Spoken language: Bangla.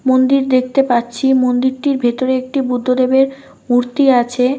মন্দির দেখতে পাচ্ছি। মন্দিরটির ভেতরে একটি বুদ্ধদেবের মূর্তি আছে।